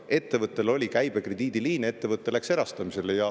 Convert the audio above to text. Ettevõttel oli käibekrediidiliine, ettevõte läks erastamisele.